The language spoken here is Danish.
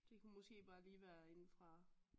Det kunne måske bare lige være inde fra